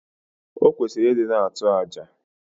Okwesiri idi na atu aja